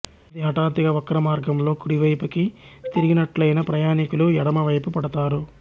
అది హఠాత్తుగా వక్రమార్గంలో కుడి వైపుకి తిరిగినట్లైన ప్రయాణీకులు ఎడమవైపు పడతారు